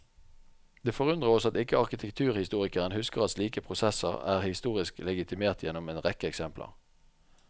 Det forundrer oss at ikke arkitekturhistorikeren husker at slike prosesser er historisk legitimert gjennom en rekke eksempler.